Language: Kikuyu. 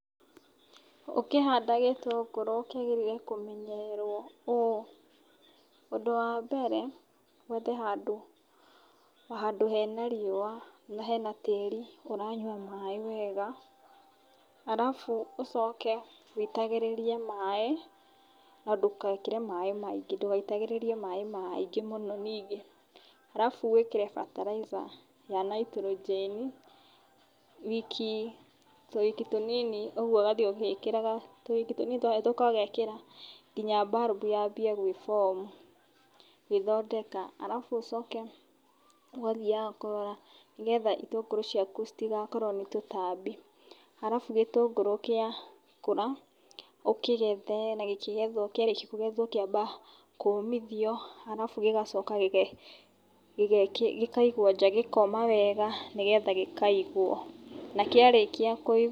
Ũkĩhanda gũtũngũrũ gĩbatie kũmenyererwo ũũ, ũndũ wa mbere wethe handũ hena riũa na hena tĩri ũranyua maĩ wega alafu ũcoke woitagĩrĩrie maĩ na ndũgekĩre maĩ maingĩ ndũgaitagĩrĩrie maĩ maingĩ mũno ningĩ, alafu ũcoke wĩkĩre bataraitha ya Nitrogen, wiki tũwiki tũnini, ũguo ũgathiĩ ũgĩkĩraga tũwiki tũnini twa hetũka ũgekĩra nginya bulb yanjie gwĩ form gwĩthondeka, alafu ũcoke ũgathiaga kũrora nĩguo itũngũrũ ciaku itigakorwo nĩ tũtambi, alafu gĩtũngũrũ gĩa kũra ũkĩgethe, na kĩrĩkia kũgethwo kĩambaga kũmithio alafu gĩgacoka gĩkaumio nja gĩkoma wega nĩgetha gĩkaigwo, na kĩrĩkia kũigwo